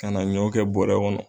Ka na ɲɔ kɛ bɔrɛ kɔnɔ.